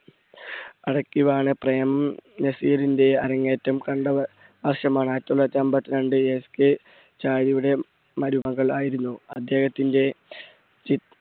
അടക്കി വാണ പ്രേം നസീറിന്റെ അരങ്ങേറ്റം കണ്ട വ~വർഷമാണ്. ആയിരത്തി തൊള്ളായിരത്തി അമ്പത്തിരണ്ട് SK മരുമകൾ ആയിരുന്നു അദ്ദേഹത്തിന്റെ ചി